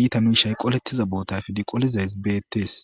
iita miishay qolettiza boota efdi qolizays beettes